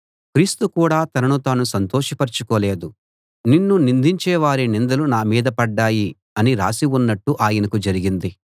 క్రీస్తు కూడా తనను తాను సంతోషపరచుకోలేదు నిన్ను నిందించే వారి నిందలు నా మీద పడ్డాయి అని రాసి ఉన్నట్టు ఆయనకు జరిగింది